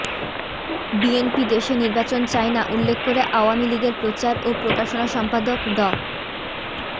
BNP দেশে নির্বাচন চায় না উল্লেখ করে আওয়ামী লীগের প্রচার ও প্রকাশনা সম্পাদক ড